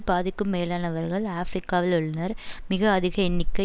பாதிக்கும் மேலானவர்கள் ஆபிரிக்காவில் உள்ளனர் மிக அதிக எண்ணிக்கை